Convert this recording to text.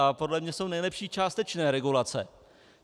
A podle mě jsou nejlepší částečné regulace.